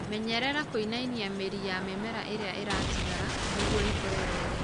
menyerera kũinainia mĩri ya mĩmera ĩrĩa ĩratigara nĩgwo ĩkũre wega.